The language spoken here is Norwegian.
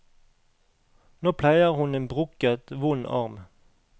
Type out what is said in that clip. Nå pleier hun en brukket, vond arm.